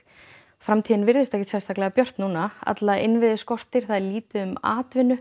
framtíðin virðist ekkert sérstaklega björt núna alla innviði skortir það er litla atvinnu